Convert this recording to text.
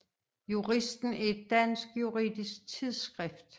Juristen er et dansk juridisk tidsskrift